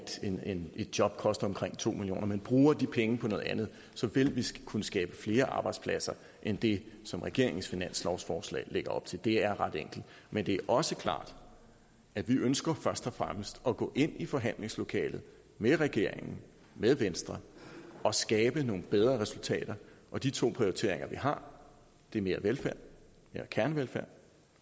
job koster omkring to millioner men bruger de penge på noget andet så vil vi kunne skabe flere arbejdspladser end det som regeringens finanslovsforslag lægger op til det er ret enkelt men det er også klart at vi ønsker først og fremmest at gå ind i forhandlingslokalet med regeringen med venstre og skabe nogle bedre resultater og de to prioriteringer vi har er mere velfærd mere kernevelfærd